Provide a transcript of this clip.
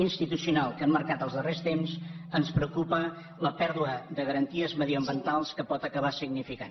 institucional que han marcat els darrers temps ens preocupa la pèrdua de garanties mediambientals que pot acabar significant